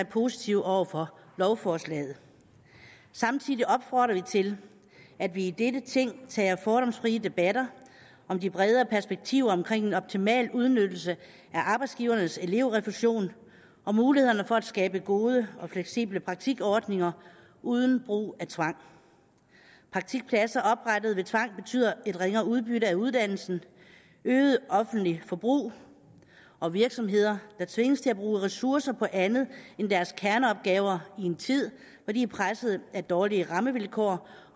positive over for lovforslaget samtidig opfordrer vi til at vi i dette ting tager fordomsfrie debatter om de bredere perspektiver omkring en optimal udnyttelse af arbejdsgivernes elevrefusion og mulighederne for at skabe gode og fleksible praktikordninger uden brug af tvang praktikpladser oprettet ved tvang betyder et ringere udbytte af uddannelsen øget offentligt forbrug og virksomheder der tvinges til at bruge ressourcer på andet end deres kerneopgaver i en tid hvor de er presset af dårlige rammevilkår